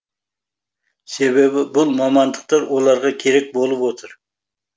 себебі бұл мамандықтар оларға керек болып отыр